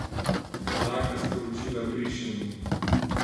Taka sporočila brišemo!